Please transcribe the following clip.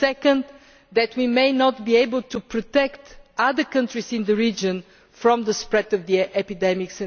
Secondly, we may not be able to protect other countries in the region from the spread of the epidemic.